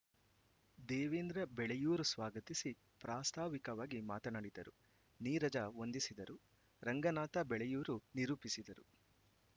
ದೇವೇಂದ್ರ ಬೆಳೆಯೂರು ಸ್ವಾಗತಿಸಿ ಪ್ರಾಸ್ತಾವಿಕವಾಗಿ ಮಾತನಾಡಿದರು ನೀರಜ ವಂದಿಸಿದರು ರಂಗನಾಥ ಬೆಳೆಯೂರು ನಿರೂಪಿಸಿದರು